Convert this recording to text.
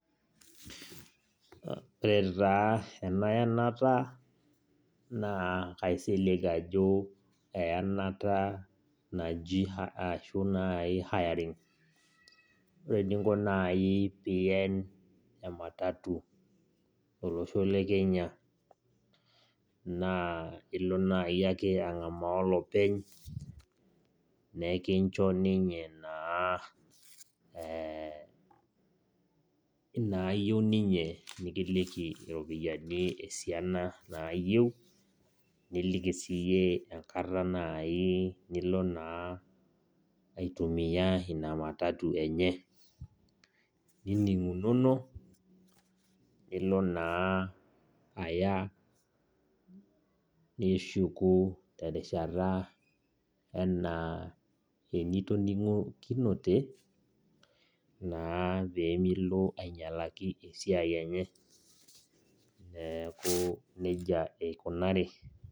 Ore taa ena yenata, naa kaisilig ajo eyanata naji ashu nai hiring. Ore eninko nai pien ematatu tolosho le Kenya, naa ilo nai ake ang'amaa olopeny, nekincho ninye naa inaayieu ninye, nikiliki iropiyiani esiana naayieu, niliki siyie enkata nai nilo naa aitumia ina matatu enye, nining'unono, nilo naa aya nishuku terishata enaa enitoning'okinote, naa pemilo ainyalaki esiai enye. Neeku nejia eikunari.